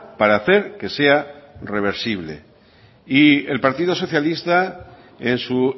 para hacer que sea reversible y el partido socialista en su